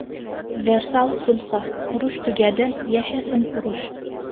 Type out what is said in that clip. Versal sulhi – urush tugadi, yashasin urush!